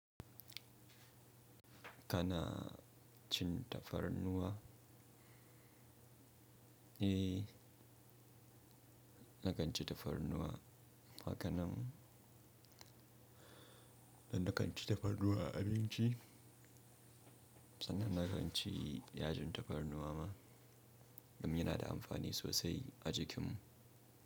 Kana cin tafarnuwa? Eh, na kan ci tafarnuwa. Ha ka nan? Na kan ci tafarnuwa abinci. Sanan inaga an ci yajin tafarnuwa ma, domin yana da amfani sosai a jikinmu.